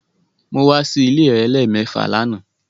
Mo wa si ile rẹ lẹmẹẹfa làná